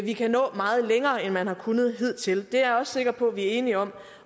vi kan nå meget længere end man har kunnet hidtil det er jeg også sikker på vi er enige om